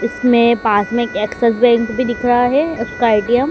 इसमें पास में एक एक्सिस बैंक भी दिख रहा है उसका ए_टी_एम --